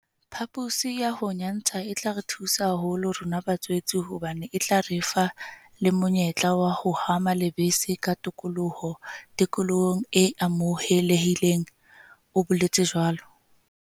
Phaposi ya ho nyantsha e tla re thusa haholo rona ba tswetse hobane e tla re fa le monyetla wa ho hama lebese ka tokoloho tikolohong e amohelehileng, o boletse jwalo.